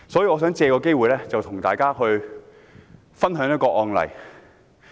我想藉此機會與大家分享一宗案例。